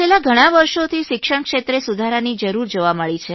છેલ્લાં ઘણાં વર્ષોથી શિક્ષણ ક્ષેત્રે સુધારાની જરૂર જોવા મળી છે